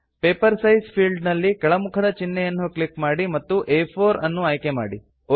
paper size field ನಲ್ಲಿ ಕೆಳ ಮುಖದ ಚಿನ್ಹೆಯನ್ನು ಕ್ಲಿಕ್ ಮಾಡಿ ಮತ್ತು ಆ4 ಅನ್ನು ಆಯ್ಕೆ ಮಾಡಿ